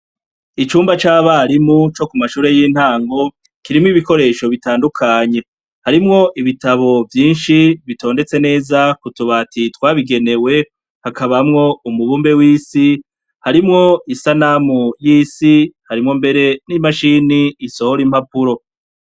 Icumba c'abarimu co ku mashure y'intango, kirimwo ibikoresho bitandukanye : harimwo ibitabo vyinshi bitondetse neza ku tubati twabigenewe, hakabamwo umubumbe w'isi, harimwo isanamu y'isi, harimwo mbere n'imashini isohora impapuro.